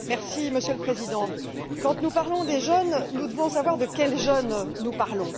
Monsieur le Président, quand nous parlons des jeunes, nous devons savoir de quels jeunes nous parlons.